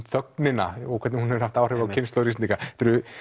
þögnina og hvernig hún hefur haft áhrif á kynslóðir Íslendinga þetta eru